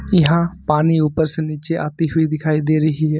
यहां पानी ऊपर से नीचे आती हुई दिखाई दे रही है।